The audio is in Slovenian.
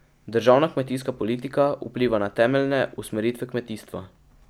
Državna kmetijska politika vpliva na temeljne usmeritve kmetijstva.